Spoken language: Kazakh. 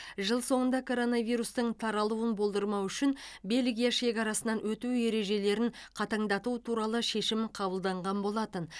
жыл соңында коронавирустың таралуын болдырмау үшін бельгия шекарасынан өту ережелерін қатаңдату туралы шешім қабылданған болатын